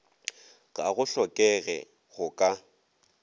ga go hlokege go ka